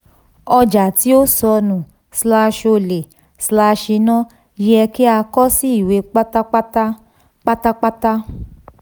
ọja tí ó sọnù/ole/iná yẹ kí a kọ sí ìwé pátápátá. pátápátá.